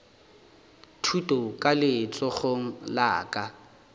thuto ka letsogong la ka